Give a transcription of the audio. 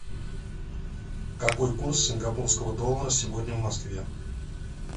какой курс сингапурского доллара сегодня в москве